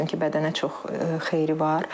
O da çünki bədənə çox xeyri var.